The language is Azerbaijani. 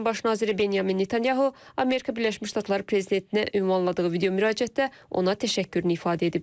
İsrailin Baş naziri Benyamin Netanyahu Amerika Birləşmiş Ştatları prezidentinə ünvanladığı videomüraciətdə ona təşəkkürünü ifadə edib.